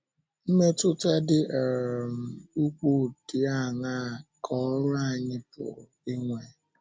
Mmetụta dị um um ukwuu dị áńaa ka ọ́rụ anyị pụrụ inwe?